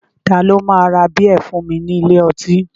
Ta ló máa ra bíẹ̀ fún ní ilé ọtí